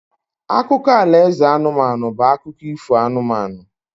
Akụkọ alaeze anụmanụ bụ akụkọ ifo anụmanụ